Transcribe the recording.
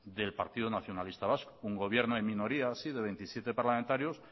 del partido nacionalista vasco un gobierno en minoría sí de veintisiete parlamentarios